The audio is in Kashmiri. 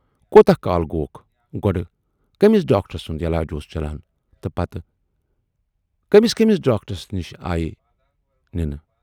کوٗتاہ کال گوکھ، گۅڈٕ کٔمِس ڈاکٹر سُند یلاج اوس چلان تہٕ پتہٕ کٔمِس کٔمِس ڈاکٹرس نِش آیہِ نِنہٕ۔